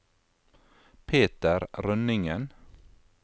Peter Rønningen